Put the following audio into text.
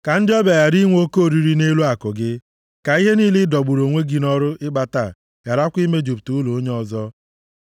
Ka ndị ọbịa ghara inwe oke oriri nʼelu akụ gị, ka ihe niile ị dọgburu onwe gị nʼọrụ ịkpata gharakwa imejupụta ụlọ onye ọzọ.